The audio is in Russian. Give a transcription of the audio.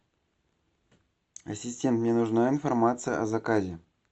ассистент мне нужна информация о заказе